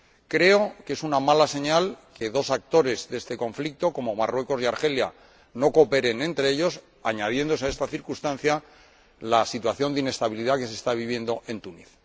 Creo que es una mala señal que dos actores de este conflicto ―como Marruecos y Argelia― no cooperen entre ellos, añadiéndose a esta circunstancia la situación de inestabilidad que se está viviendo en Túnez.